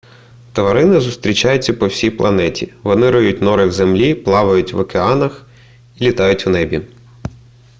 тварини зустрічаються по всій планеті вони риють нори в землі плавають в океанах і літають в небі